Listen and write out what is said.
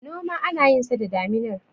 noma ana yinsa da daminar